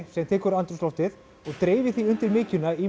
sem tekur andrúmsloftið og dreifir því undir mykjuna í